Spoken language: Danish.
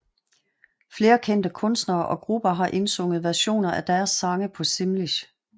Flere kendte kunstnere og grupper har indsunget versioner af deres sange på simlish